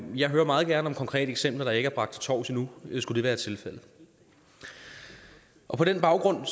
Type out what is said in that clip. jeg hører meget gerne om konkrete eksempler der ikke er bragt til torvs endnu hvis det skulle være tilfældet på den baggrund